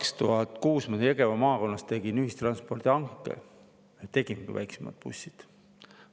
2006. aastal Jõgeva maakonnas ma tegin ühistranspordihanke, me väiksemad bussid.